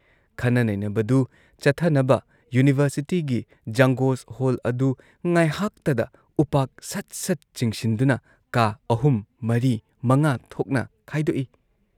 ꯈꯟꯅ ꯅꯩꯩꯅꯕꯗꯨ ꯆꯠꯊꯅꯕ ꯌꯨꯅꯤꯚꯔꯁꯤꯇꯤꯒꯤ ꯖꯪꯒꯣꯖ ꯍꯣꯜ ꯑꯗꯨ ꯉꯥꯏꯍꯥꯛꯇꯗ ꯎꯄꯥꯛ ꯁꯠ ꯁꯠ ꯆꯤꯡꯁꯤꯟꯗꯨꯅ ꯀꯥ ꯑꯍꯨꯝ ꯃꯔꯤ ꯃꯉꯥ ꯊꯣꯛꯅ ꯈꯥꯏꯗꯣꯛꯏ ꯫